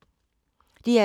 DR2